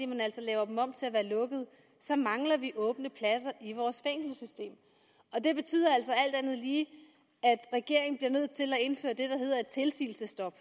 man altså laver dem om til at være lukkede så mangler vi åbne pladser i vores fængselssystem og det betyder altså alt andet lige at regeringen bliver nødt til at indføre det der hedder et tilsigelsesstop